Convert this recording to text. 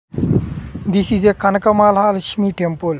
This is a Kanakamala Lakshmi temple .